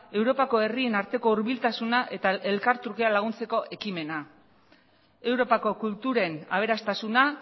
europako herrien arteko hurbiltasuna eta elkartrukean laguntzeko ekimena europako kulturen aberastasuna